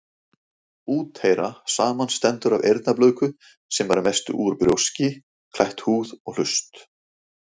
Úteyra samanstendur af eyrnablöðku, sem er að mestu út brjóski, klætt húð, og hlust.